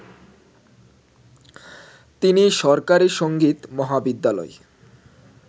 তিনি সরকারি সংগীত মহাবিদ্যালয়